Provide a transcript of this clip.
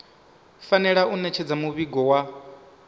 fanela u ṋetshedza muvhigo wa